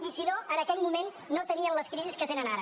i si no en aquell moment no tenien les crisis que tenen ara